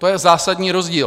To je zásadní rozdíl.